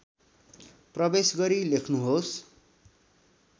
प्रवेश गरी लेख्नुहोस्